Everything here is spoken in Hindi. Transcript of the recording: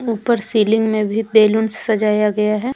ऊपर सीलिंग में भी बलूंस सजाया गया है।